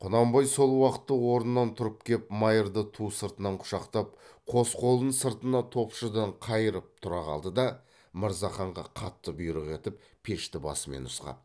құнанбай сол уақытта орнынан тұрып кеп майырды ту сыртынан құшақтап қос қолын сыртына топшыдан қайырып тұра қалды да мырзаханға қатты бұйрық етіп пешті басымен нұсқап